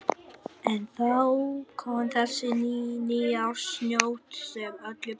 En þá kom þessi nýársnótt sem öllu breytti.